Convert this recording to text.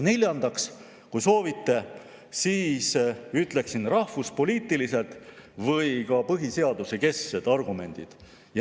Neljandaks, kui soovite, siis rahvuspoliitilised või ka põhiseaduskesksed argumendid.